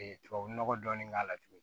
tubabunɔgɔ dɔɔnin k'a la tuguni